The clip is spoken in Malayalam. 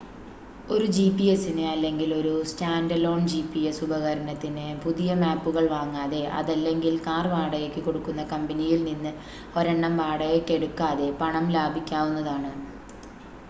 ഒരു ജി‌പി‌എസിന് അല്ലെങ്കിൽ ഒരു സ്റ്റാൻ‌ഡലോൺ ജി‌പി‌എസ് ഉപകരണത്തിന് പുതിയ മാപ്പുകൾ വാങ്ങാതെ, അതല്ലെങ്കിൽ കാർ വാടകയ്‌ക്ക് കൊടുക്കുന്ന കമ്പനിയിൽ നിന്ന് ഒരെണ്ണം വാടകയ്‌ക്കെടുക്കാതെ പണം ലാഭിക്കാവുന്നതാണ്